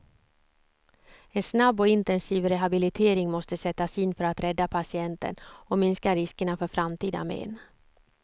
En snabb och intensiv rehabilitering måste sättas in för att rädda patienten och minska riskerna för framtida men.